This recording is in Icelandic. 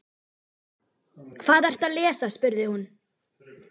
Hvað ertu að lesa, spurði hún.